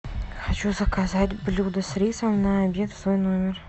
хочу заказать блюдо с рисом на обед в свой номер